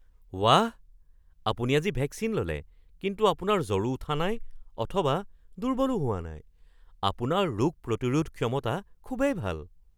বাহ! আপুনি আজি ভেকচিন ল'লে কিন্তু আপোনাৰ জ্বৰো উঠা নাই অথবা দুৰ্বলো হোৱা নাই। আপোনাৰ ৰোগ প্ৰতিৰোধ ক্ষমতা খুবেই ভাল!